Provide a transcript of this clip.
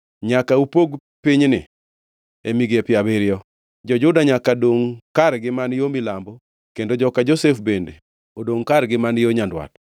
Nyaka upog pinyni e migepe abiriyo. Jo-Juda nyaka dongʼ kargi man yo milambo kendo joka Josef bende odongʼ kargi man yo nyandwat.